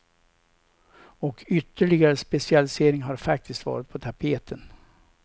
Och ytterligare specialisering har faktiskt varit på tapeten.